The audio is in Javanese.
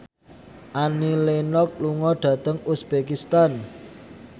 Annie Lenox lunga dhateng uzbekistan